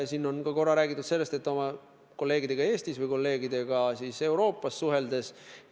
Siin on korra räägitud ka sellest, kuidas ma oma kolleegidega Euroopas suhtlen.